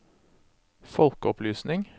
folkeopplysning